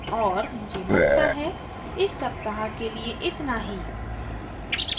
और मुझे लगता है इस सप्ताह के लिए इतना ही